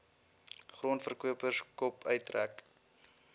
grondverkopers kop uittrek